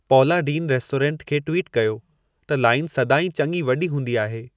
पौला Deen restaurant खे tweet कयो त लाइन सदाईं चङी वॾी हूंदी आहे